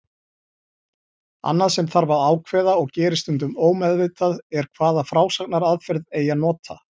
Annað sem þarf að ákveða, og gerist stundum ómeðvitað, er hvaða frásagnaraðferð eigi að nota.